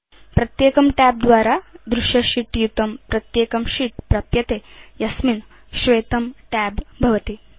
प्रत्येकं tab द्वारा दृश्य शीत् युतं प्रत्येकं शीत् प्राप्यते यस्मिन् श्वेत tab भवति